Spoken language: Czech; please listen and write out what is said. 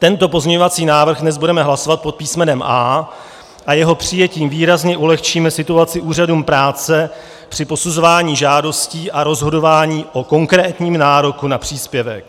Tento pozměňovací návrh dnes budeme hlasovat pod písmenem A a jeho přijetím výrazně ulehčíme situaci úřadům práce při posuzování žádostí a rozhodování o konkrétním nároku na příspěvek.